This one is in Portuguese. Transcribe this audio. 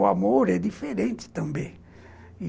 O amor é diferente também.